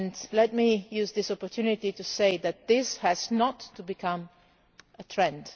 Let me use this opportunity to say that this must not become a trend.